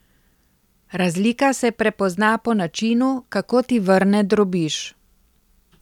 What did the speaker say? Razlika se prepozna po načinu, kako ti vrne drobiž.